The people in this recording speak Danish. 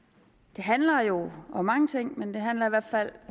det handler jo om mange ting men det handler i hvert fald